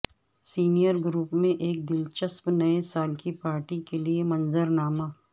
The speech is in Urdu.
سینئر گروپ میں ایک دلچسپ نئے سال کی پارٹی کے لئے منظر نامہ